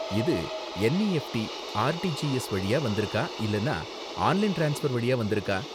இது NEFT, RTGS வழியா வந்திருக்கா இல்லனா ஆன்லைன் ட்ரான்ஸ்ஃபர் வழியா வந்திருக்கா?